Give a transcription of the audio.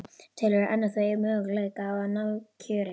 Telurðu enn að þú eigir möguleika á að ná kjöri?